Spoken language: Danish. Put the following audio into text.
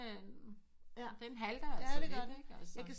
Den halter altså lidt